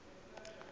ya motho ya o nang